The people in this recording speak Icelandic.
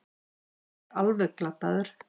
Ekki alveg glataður